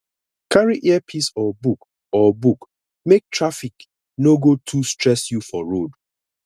carry earpiece or book or book make traffic no go too stress you for road